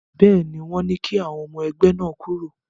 Bẹ́ẹ̀ ni, wọ́n ní kí àwọn ọmọ ẹgbẹ́ náà kúrò.